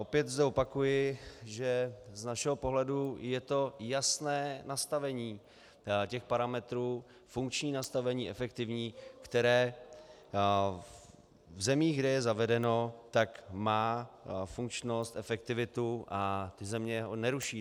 Opět zde opakuji, že z našeho pohledu je to jasné nastavení těch parametrů, funkční nastavení efektivní, které v zemích, kde je zavedeno, tak má funkčnost, efektivitu a země ho neruší.